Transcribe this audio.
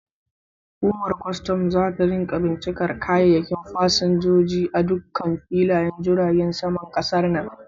Hukumar kwastam zata rika bincikar kayayyakin fasinjoji a dukkan filayen jiragen kasar nan.